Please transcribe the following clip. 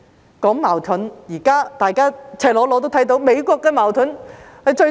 提到矛盾，現在大家也親眼目睹美國的矛盾。